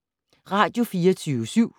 Radio24syv